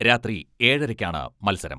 രാത്രി ഏഴരക്കാണ് മത്സരം.